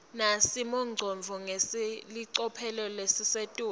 nesimongcondvo ngelicophelo lelisetulu